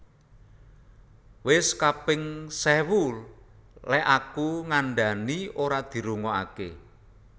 Wes kaping sewu lek aku ngandhani ora dirungoake